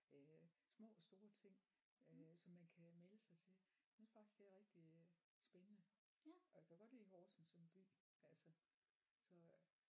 Øh små og store ting øh som man kan melde sig til jeg synes faktisk det er rigtig spændende og jeg kan godt lide Horsens som by altså så